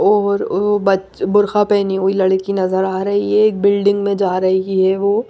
और वो ब बुर्खा पहनी हुई लड़की नजर आ रही है एक बिल्डिंग में जा रही है वो--